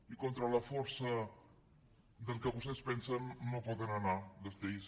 i contra la força del que vostès pensen no hi poden anar les lleis